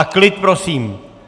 A klid prosím!